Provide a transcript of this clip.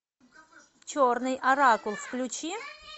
черный оракул включи